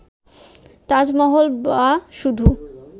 তাজমহল বা শুধু